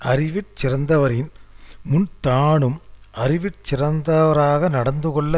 அறிவிற் சிறந்தவரின் முன் தானும் அறிவிற் சிறந்தவராக நடந்து கொள்ள